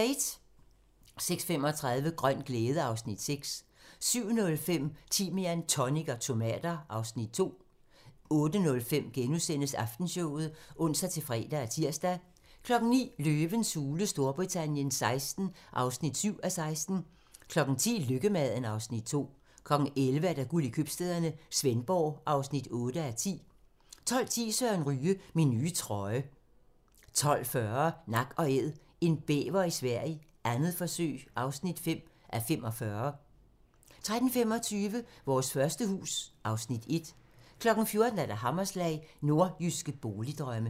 06:35: Grøn glæde (Afs. 6) 07:05: Timian, tonic og tomater (Afs. 2) 08:05: Aftenshowet *(ons-fre og tir) 09:00: Løvens hule Storbritannien XVI (7:16) 10:00: Lykkemaden (Afs. 2) 11:00: Guld i købstæderne - Svendborg (8:10) 12:10: Søren Ryge: Min nye trøje 12:40: Nak & Æd - en bæver i Sverige, 2. forsøg (5:45) 13:25: Vores første hus (Afs. 1) 14:00: Hammerslag - Nordjyske boligdrømme